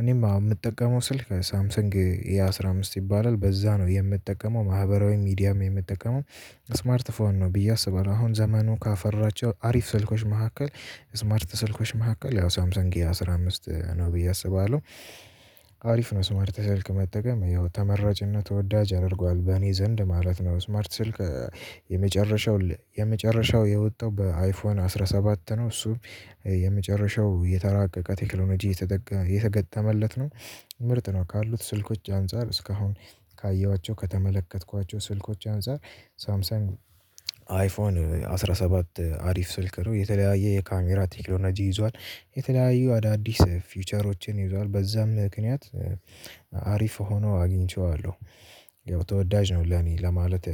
እኔም የምጠቀመው ስልክ ሳምሰንግ ይሄ ኤ አስራ አምስት ይባላል በዛ ነው የምጠቀመው ማህበራዊ ሚዲያም የምጠቀመው። ስማርት ፎን ነው ብዬ አስባለሁ። አሁን ዘመኑ ካፈራቸው አሪፍ ስልኮች መካከል ስማርት ስልኮች መካከል ያው ሳምሰንግ ኤ አስራ አምስት ነው ብዬ አስባለሁ። አሪፍ ነው ስማርት ስልክ መጠቀም ያው ተመራጭና ተወዳጅ ያደርገዋል በእኔ ዘንድ ማለት ነው። ስማርት ስልክ። የመጨረሻው የመጨረሻው የወጣው በአይፎን አስራ ሰባት ነው። እሱም የመጨረሻው የተራቀቀ ቴክኖሎጂ የተገተመለት ነው። ምርጥ ነው ካሉት ስልኮች አንፃር እስካሁን ካየኋቸው ከተመለከትኳቸው ስልኮች አንፃር ሳምሰን አይፎን አስራ ሰባት አሪፍ ስልክ ነው የተለያየ የካሜራ ቴክኖሎጂ ይዟል። የተለያዩ አዳዲስ ፊውቸሮችን ይዟል በዛም ምክንያት አሪፍ ሆኖ አግኝቼዋለሁ። ያው ወዳጅ ነው ለኔ ለማለት